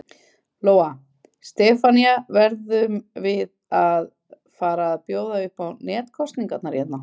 Lóa: Stefanía, verðum við að fara að bjóða upp á netkosningar hérna?